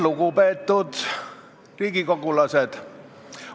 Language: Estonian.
Lugupeetud riigikogulased!